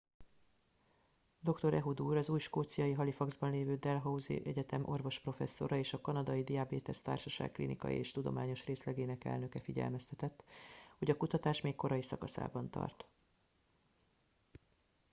dr. ehud ur az új skóciai halifaxban lévő dalhousie egyetem orvosprofesszora és a kanadai diabétesz társaság klinikai és tudományos részlegének elnöke figyelmeztetett hogy a kutatás még korai szakaszában tart